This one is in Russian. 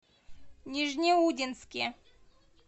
нижнеудинске